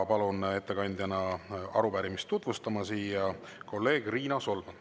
Palun ettekandjana arupärimist tutvustama kolleeg Riina Solmani.